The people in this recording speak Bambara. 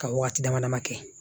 Ka waati dama dama kɛ